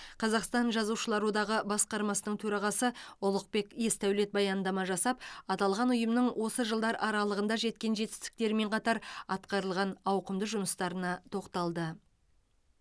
қазақстан жазушылар одағы басқармасының төрағасы ұлықбек есдәулет баяндама жасап аталған ұйымның осы жылдар аралығында жеткен жетістіктерімен қатар атқарылған ауқымды жұмыстарына тоқталды